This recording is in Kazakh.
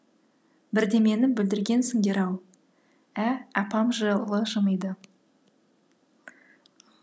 бірдемені бүлдіргенсіндер ау ә апам жылы жымиды